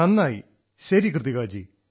നന്നായി ശരി കൃതികാജീ